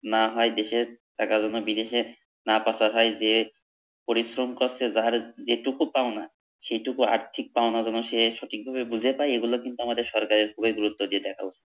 না হয় দেশের, টাকার জন্য বিদেশে, না পাচার হয় যে পরিশ্রম করছে যার যে টুকু পাওনা সেটুকু আর্থিক পাওনা যেন সে সঠিকভাবে বুঝে পায় এগুলো কিন্তু আমাদের সরকরের পুরোই গুরুত্ব দিয়া দেখা উচিত